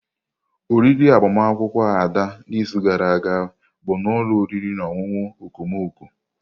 Oriri agbamakwụkwọ Ada n'izu gara aga bụ n'ụlọ oriri na ọṅụṅụ okomoko.